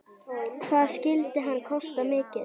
Hvað skyldi hann kosta mikið?